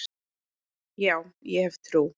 Já, ég hef trú.